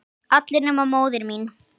allir nema móðir mín